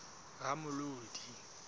ramolodi